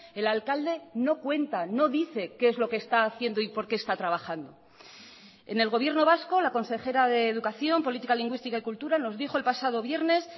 el alcalde no cuenta no dice qué es lo que está haciendo y por qué está trabajando en el gobierno vasco la consejera de educación política lingüística y cultura nos dijo el pasado viernes